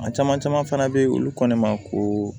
A caman caman fana bɛ yen olu ko ne ma ko